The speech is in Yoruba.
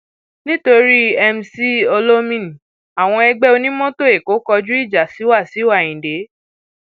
nítorí mc olomini àwọn ẹgbẹ onímọtò èkó kọjú ìjà sí wàsíù ayinde